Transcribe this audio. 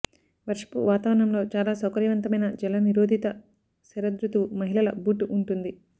వర్షపు వాతావరణంలో చాలా సౌకర్యవంతమైన జలనిరోధిత శరదృతువు మహిళల బూట్ ఉంటుంది